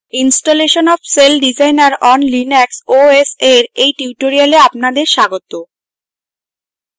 installation of celldesigner on linux os এর এই tutorial আপনাদের স্বাগত